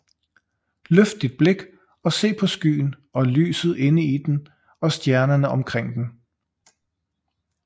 Løft dit blik og se på skyen og lyset inde i den og stjernerne omkring den